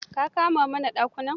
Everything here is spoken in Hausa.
Ka kama mana dakunan?